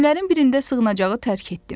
Günlərin birində sığınacağı tərk etdim.